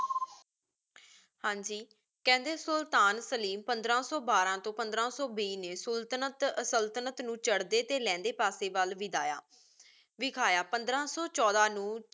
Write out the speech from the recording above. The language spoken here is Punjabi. ਹਾਂਜੀ ਕੇਹੰਡੀ ਸੁਲਤਾਨ ਸਲੀਮ ਪੰਦ੍ਰ ਸੋ ਬਾਰਾ ਤੋ ਪੰਦ੍ਰ ਸੋ ਬੀਸ ਮੈ ਸਲ੍ਤੁਨਾੰਟ ਨੂ ਚਾਰਡੀ ਟੀ ਲੇੰਡੀ ਪਾਸੀ ਵਾਲ ਵਾਦਾਯਾ ਵੇਖਾਯਾ ਪੰਦ੍ਰ ਸੋ ਛੋਡਾ ਨੂ